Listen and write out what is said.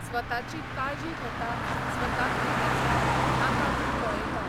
स्वताची काळजी घेता, स्वताक कितें जाय, नाका तें पळेता.